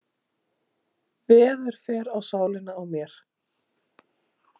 Veður fer á sálina á mér.